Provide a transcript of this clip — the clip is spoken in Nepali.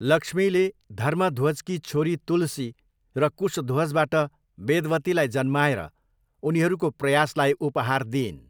लक्ष्मीले धर्मध्वजकी छोरी तुलसी र कुशध्वजबाट वेदवतीलाई जन्माएर उनीहरूको प्रयासलाई उपहार दिइन्।